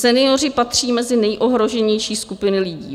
Senioři patří mezi nejohroženější skupiny lidí.